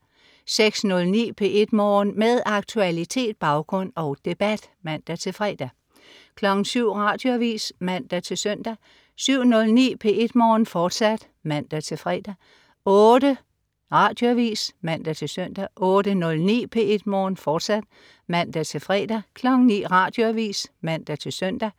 06.09 P1 Morgen. Med aktualitet, baggrund og debat (man-fre) 07.00 Radioavis (man-søn) 07.09 P1 Morgen, fortsat (man-fre) 08.00 Radioavis (man-søn) 08.09 P1 Morgen, fortsat (man-fre) 09.00 Radioavis (man-søn)